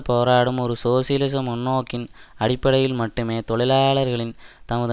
போராடும் ஒரு சோசியலிச முன்நோக்கின் அடிப்படையில் மட்டுமே தொழிலாளர்களின் தமது